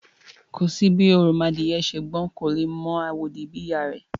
Kò sí bí òròmọadìyẹ ṣe gbọ́n tó, kò lè mọ àwòdì bí ìyá a rẹ̀